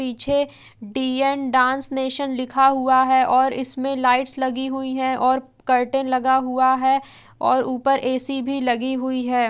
पीछे डी.न dance nation लिखा हुआ है और इसमें लाइटस लगी हुई है और कर्टन लगा हुआ है और ऊपर ए_सी भी लगी हुई है।